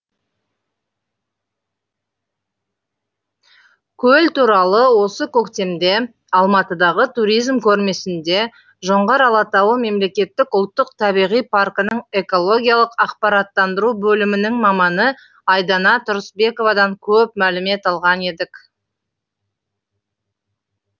көл туралы осы көктемде алматыдағы туризм көрмесінде жоңғар алатауы мемлекеттік ұлттық табиғи паркінің экологиялық ақпараттандыру бөлімінің маманы айдана тұрысбековадан көп мәлімет алған едік